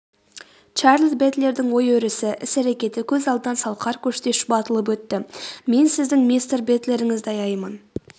чарльз бэтлердің ой-өрісі іс-әрекеті көз алдынан салқар көштей шұбатылып өтті.мен сіздің мистер бэтлеріңізді аяймын